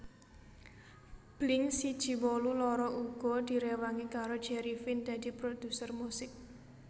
Blink siji wolu loro uga direwangi karo Jerry Finn dadi produser musik